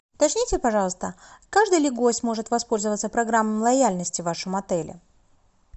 уточните пожалуйста каждый ли гость может воспользоваться программой лояльности в вашем отеле